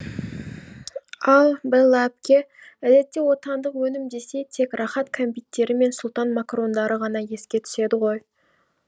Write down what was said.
ал бэлла әпке әдетте отандық өнім десе тек рахат кәмпиттері мен сұлтан макарондары ғана еске түседі ғой